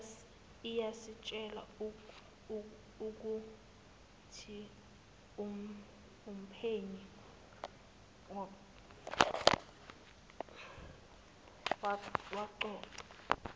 iyasitshela ukuthiumphenyi waqoqa